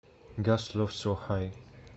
гост лофт соу хай